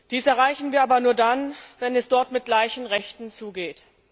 Dies erreichen wir aber nur dann, wenn es dort mit gleichen Rechten zugeht.